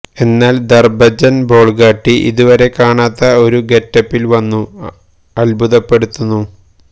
എന്നാല് ധര്മ്മജന് ബോള്ഗാട്ടി ഇതു വരെ കാണാത്ത ഒരു ഗെറ്റപ്പില് വന്നു അത്ഭുതപ്പെടുത്തുന്നു